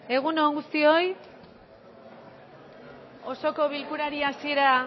egun on guztioi osoko bilkurari hasiera